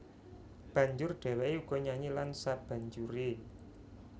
Banjur dhèwèké uga nyanyi lan sabanjuré